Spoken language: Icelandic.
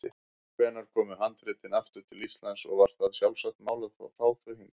Hvenær komu handritin aftur til Íslands og var það sjálfsagt mál að fá þau hingað?